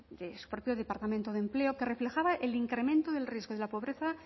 de su propio departamento de empleo que reflejaba el incremento del riesgo de la pobreza